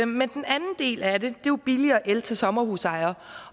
men den anden del af det jo billigere el til sommerhusejere